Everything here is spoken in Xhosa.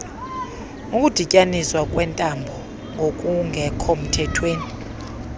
ukudityaniswa kweentambo ngokungekhomthethweni